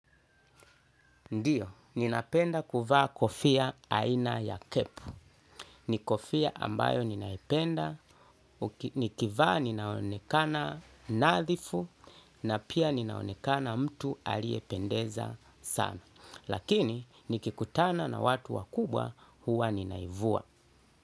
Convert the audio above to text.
Ndiyo, ninapenda kuvaa kofia aina ya kepu. Ni kofia ambayo ninaipenda, nikivaa ninaonekana nadhifu na pia ninaonekana mtu aliyependeza sana. Lakini, nikikutana na watu wakubwa huwa ninaivua.